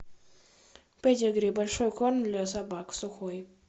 педигри большой корм для собак сухой